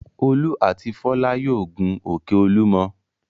Olú àti Fọlá yóò gun òkè Olúmọ.